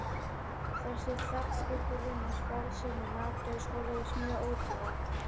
Þessi þegnskylduvinna og sparsemi í mat gerðu skólavist mjög ódýra.